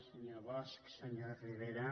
senyor bosch senyor rivera